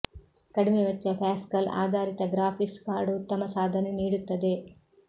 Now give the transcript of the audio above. ಕಡಿಮೆ ವೆಚ್ಚ ಪ್ಯಾಸ್ಕಲ್ ಆಧಾರಿತ ಗ್ರಾಫಿಕ್ಸ್ ಕಾರ್ಡ್ ಉತ್ತಮ ಸಾಧನೆ ನೀಡುತ್ತದೆ